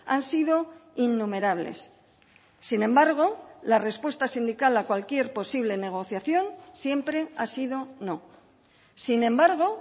han sido innumerables sin embargo la respuesta sindical a cualquier posible negociación siempre ha sido no sin embargo